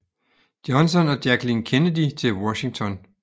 Johnson og Jacqueline Kennedy til Washington